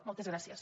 moltes gràcies